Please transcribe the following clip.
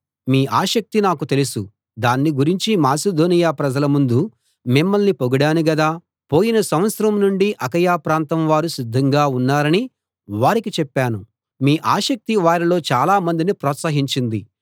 మీ ఆసక్తి నాకు తెలుసు దాన్ని గురించి మాసిదోనియ ప్రజల ముందు మిమ్మల్ని పొగిడాను గదా పోయిన సంవత్సరం నుండి అకయ ప్రాంతం వారు సిద్ధంగా ఉన్నారని వారికి చెప్పాను మీ ఆసక్తి వారిలో చాలా మందిని ప్రోత్సహించింది